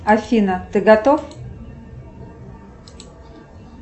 афина ты готов